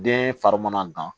Den fari mana dan